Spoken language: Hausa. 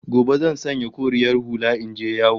Gobe zan sanya koriyar hula in je yawo